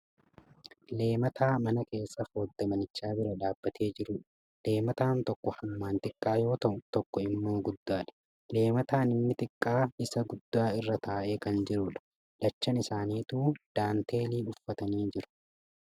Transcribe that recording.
Leemataa mana keessa foddaa manichaa bira dhaabatee jirudha. Leemataan tokko hammaan xiqqaa yoo ta'u tokko immoo guddaadha. Leemataan inni xiqqaa isa guddaa irra taa'ee kan jirudha. Lachan isaaniituu daanteelii uffatanii jiru.